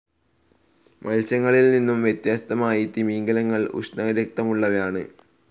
മത്സ്യങ്ങളിൽ നിന്നും വ്യത്യസ്തമായി തിമിംഗിലങ്ങൾ ഉഷ്ണരക്തമുള്ളവയാണ്.